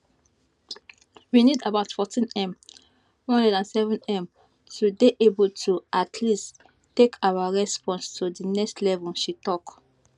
we need about 14m 107m to dey able to at least take our response to di next level she tok